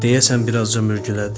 Deyəsən bir azca mürgülədim.